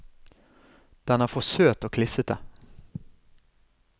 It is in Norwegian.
Den er for søt og klissete.